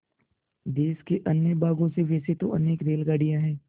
देश के अन्य भागों से वैसे तो अनेक रेलगाड़ियाँ हैं